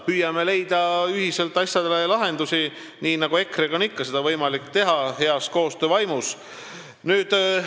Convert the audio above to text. Püüame leida ühiselt lahendusi, nii nagu EKRE-ga ikka seda on võimalik teha, heas koostöö vaimus.